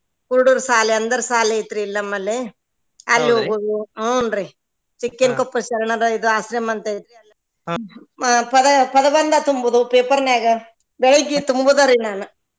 ಕುರಡರ ಸಾಲಿ ಅಂಧರ ಸಾಲಿ ಐತ್ರಿ ಇಲ್ಲಿ ನಮ್ಮಲ್ಲಿ ಅಲ್ಲಿ ಹೋಗುದು ಹುನ್ರೀ ಚಿಕ್ಕಿನ್ ಕೊಪ್ಪದ್ ಶರಣರ ಆಶ್ರಮ ಅಂತ ಐತ್ರಿ ಹ್ಮ್ ಪದ~ ಪದಬಂಧ ತುಂಬುದು paper ನ್ಯಾಗ ಬೆಳಿಗ್ಗೆ ತುಂಬುದರಿ ನಾನ್